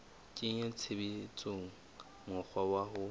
kenya tshebetsong mokgwa wa ho